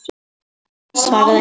Thomas svaraði ekki strax.